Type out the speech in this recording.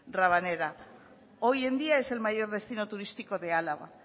rabanera hoy en día es el mayor destino turístico de álava